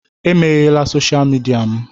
Emeghela sọsha mịdia m.